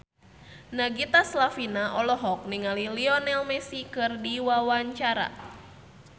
Nagita Slavina olohok ningali Lionel Messi keur diwawancara